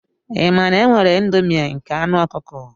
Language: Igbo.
Ị ma na e nwere indomie nke anu ọkụkọ?